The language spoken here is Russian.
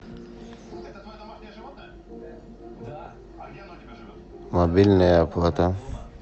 мобильная оплата